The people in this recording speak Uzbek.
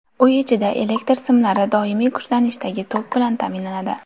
Uy ichida elektr simlari doimiy kuchlanishdagi tok bilan ta’minlanadi.